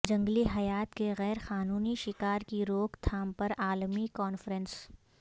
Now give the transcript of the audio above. جنگلی حیات کے غیرقانونی شکار کی روک تھام پر عالمی کانفرنس